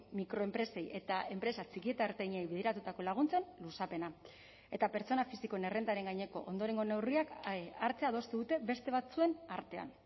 mikroenpresei eta enpresa txiki eta ertainei bideratutako laguntzen luzapena eta pertsona fisikoen errentaren gaineko ondorengo neurriak hartzea adostu dute beste batzuen artean